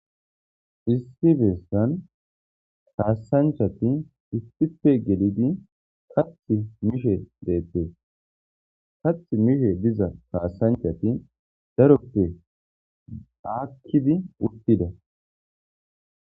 issi beesan taasanchati istipe gelidi kath mishe deette kath mishe diza kaasanchati daroppe aakkidi uttida